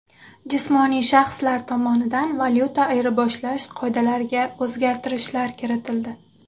Jismoniy shaxslar tomonidan valyuta ayirboshlash qoidalariga o‘zgartirishlar kiritildi.